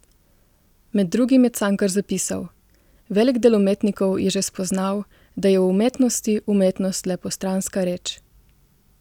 Med drugim je Cankar zapisal: "Velik del umetnikov je že spoznal, da je v umetnosti umetnost le postranska reč ...